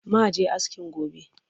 Ma je askin gobe